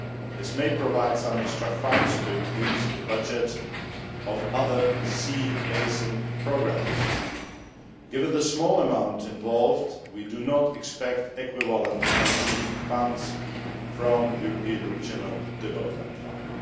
This may provide some extra funds to increase the budget of other Sea Basin programmes. Given the small amount involved, we do not expect equivalent matching funds from the European Regional Development Fund.